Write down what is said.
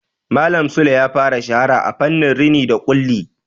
Malam Sule ya fara shahara a fannin rini da ƙulli.